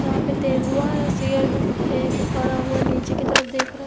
यहां पे तेंदुआ या शेरद है जो खड़ा हुआ नीचे की तरफ देख रहा --